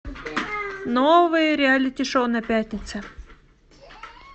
новые реалити шоу на пятнице